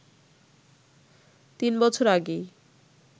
৩ বছর আগেই